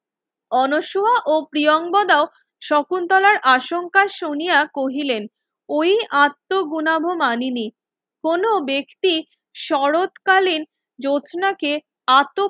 অনশোয়া ও প্রিয়ংবদাও শকুন্তলার আশঙ্কা শুনিয়া কহিলেন ওই আত্মগুনভ মানিনি কোনো ব্যক্তি শরৎকালীন জোছনাকে আটক